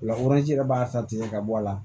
O la yɛrɛ b'a ta tigɛ ka bɔ a la